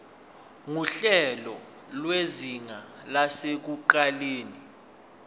nguhlelo lwezinga lasekuqaleni